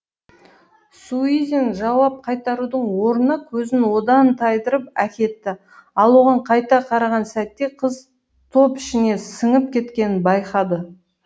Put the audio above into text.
суизин жауап қайтарудың орнына көзін одан тайдырып әкетті ал оған қайта қараған сәтте қыз топ ішіне сіңіп кеткенін байқады